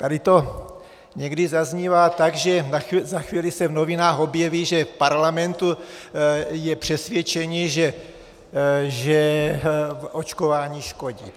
Tady to někdy zaznívá tak, že za chvíli se v novinách objeví, že v Parlamentu je přesvědčení, že očkování škodí.